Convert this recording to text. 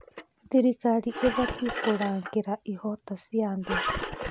Thirikari ĩbatiĩ kũrangĩra ihooto cia andũ.